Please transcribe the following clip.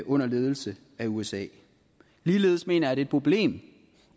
under ledelse af usa ligeledes mener et problem